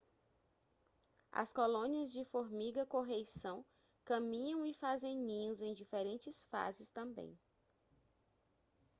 as colônias de formiga-correição caminham e fazem ninhos em diferentes fases também